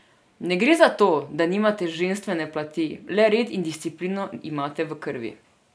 Ne gre za to, da nimate ženstvene plati, le red in disciplino imate v krvi.